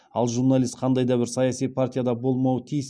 ал журналист қандай да бір саяси партияда болмауы тиіс